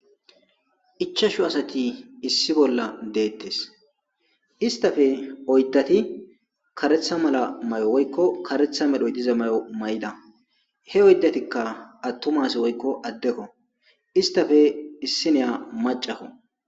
Ichashu asati issi bolla deettes. Istafe oyddati karetha mala may7o woykko karetha medhoy diza may7o may7da. He oydatika attumasi woykko addekko. Istafe issi neya macako.